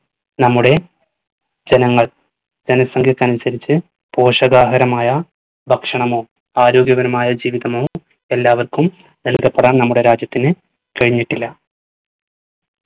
നമ്മുടെ ജനങ്ങൾ ജനസംഘ്യക്കനുസരിച് പോഷകാഹാരമായ ഭക്ഷണമോ ആരോഗ്യകരമായ ജീവിതമോ എല്ലാവർക്കും നല്കപ്പെടാൻ നമ്മുടെ രാജ്യത്തിന് കഴിഞ്ഞിട്ടില്ല